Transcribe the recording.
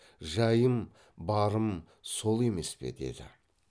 жайым барым сол емес пе деді